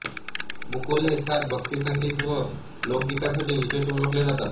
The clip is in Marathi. मुकुल हे ख्याल भक्तिसंगीत व लोकगीतांसाठी विशेष ओळखले जातात